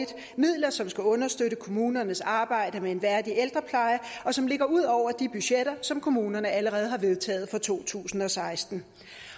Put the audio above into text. midler som skal understøtte kommunernes arbejde med en værdig ældrepleje og som ligger ud over de budgetter som kommunerne allerede har vedtaget for to tusind og seksten